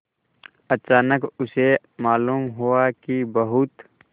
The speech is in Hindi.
अचानक उसे मालूम हुआ कि बहुत